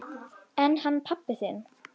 En hann pabbi þinn?